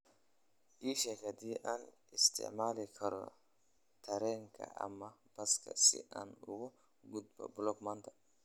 Ii sheeg haddii aan isticmaali karo tareenka ama baska si aan uga gudbo block maanta